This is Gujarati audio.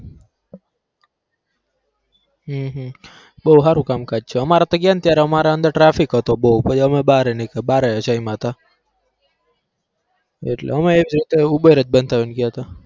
હમ હમ બહુ હારું કામકાજ છે અમારે તો ગયાને તો અમારે traffic હતું બહુ પહી અમે બાર નિકલા બાર જયમાં તા એટલે અમે uber જ બંધાવીને ગયા હતા.